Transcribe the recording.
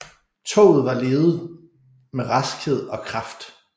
Toget var ledet med raskhed og kraft